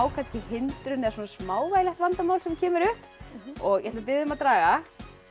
hindrun eða smávægilegt vandamál sem kemur upp ég ætla að biðja þig um að draga